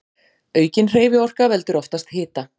Aukin hreyfiorka veldur oftast hita.